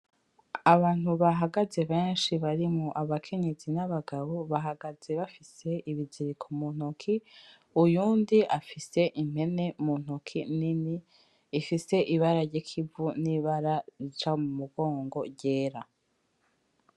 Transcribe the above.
Abantu bahagaze benshi barimwo abakenyezi n'abagabo, bahagaze bafise ibiziriko mu ntoki, uyundi afise impene mu ntoki nini ifise ibara ry'ikivu; n'ibara rica mu mugongo ryera.